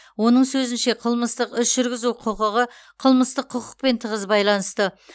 оның сөзінше қылмыстық іс жүргізу құқығы қылмыстық құқықпен тығыз байланысты